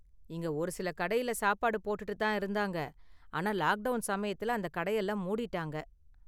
இங்க ஒரு சில கடையில சாப்பாடு போட்டுட்டு தான் இருந்தாங்க, ஆனா லாக் டவுன் சமயத்துல அந்த கடையெல்லாம் மூடிட்டாங்க.